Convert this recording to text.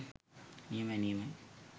නියමයි නියමයි